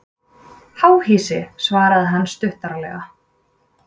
Háhýsi svaraði hann stuttaralega.